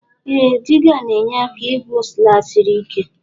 Ee diga na enye aka igwụ sla siri ike